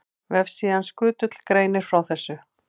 Vefsíðan Skutull greinir frá þessu.